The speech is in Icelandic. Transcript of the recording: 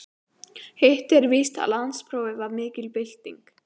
Hitt er víst að landsprófið var mikil bylting.